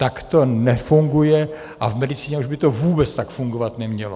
Tak to nefunguje a v medicíně už by to vůbec tak fungovat nemělo.